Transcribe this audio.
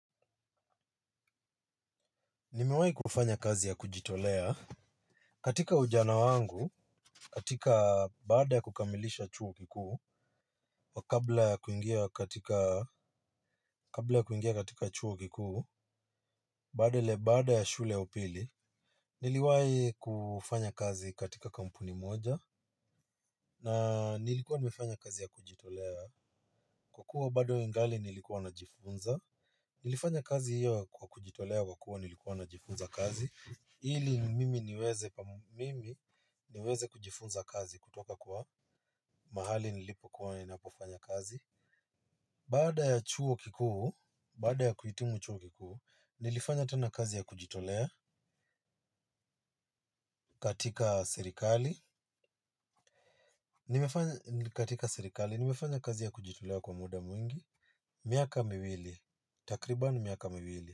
Nimewai kufanya kazi ya kujitolea katika ujana wangu, katika baada ya kukamilisha chuo kikuu, kabla ya kuingia katika chuo kikuu, baada ya shule upili, niliwai kufanya kazi katika kampuni moja, na nilikuwa nimefanya kazi ya kujitolea, kwa kuwa bado ingali nilikuwa najifunza. Nilifanya kazi hiyo kwa kujitolea kwa kuwa nilikuwa najifunza kazi. Ili mimi niweze kujifunza kazi kutoka kwa mahali nilipo kuwa ninapofanya kazi. Baada ya chuo kikuu, baada ya kuhitimu chuo kikuu, nilifanya tena kazi ya kujitolea katika serikali. Nimefanya kazi ya kujitolea kwa muda mwingi, miaka miwili, takribani miaka miwili.